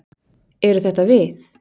Eru þetta við?